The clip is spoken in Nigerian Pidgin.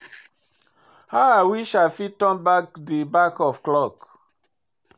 How I wish I fit turn back di back of clock.